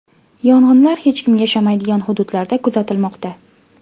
Yong‘inlar hech kim yashamaydigan hududlarda kuzatilmoqda.